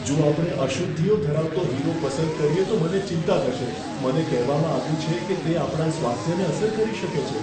જો આપણે અશુદ્ધિઓ ધરાવતો હીરો પસંદ કરીએ તો મને ચિંતા થશે. મને કહેવામાં આવ્યું છે કે તે આપણા સ્વાસ્થ્યને અસર કરી શકે છે.